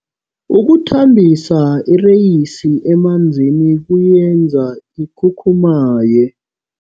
Ukuthambisa ireyisi emanzini kuyenza ikhukhumaye.